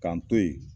K'an to yen